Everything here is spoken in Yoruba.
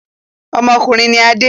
Ọmọkùnrin ni Adé.